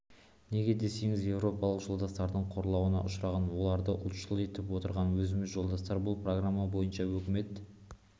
неге десеңіз еуропалық жолдастардың қорлауына ұшыраған оларды ұлтшыл етіп отырған өзіміз жолдастар бұл программа бойынша өкімет